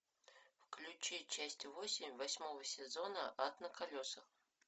включи часть восемь восьмого сезона ад на колесах